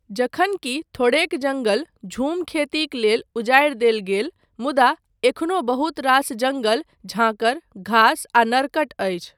जखन कि थोड़ेक जङ्गल झूम खेतीक लेल उजाड़ि देल गेल मुदा, एखनो बहुत रास जङ्गल झांखर, घास आ नरकट अछि।